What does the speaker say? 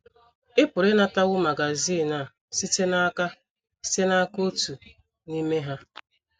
Ị pụrụ ịnatawo magazin a site n’aka site n’aka otu n’ime ha.